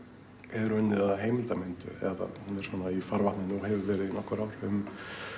er unnið að heimildamynd eða hún er í farvatninu og hefur verið í nokkur ár um